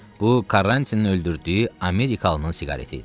Bu Karrantinin öldürdüyü Amerikalının siqareti idi.